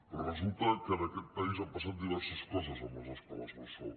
però resulta que en aquest país han passat diverses coses amb les escoles bressol